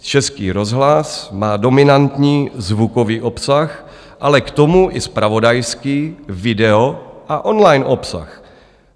Český rozhlas má dominantní zvukový obsah, ale k tomu i zpravodajský video a online obsah.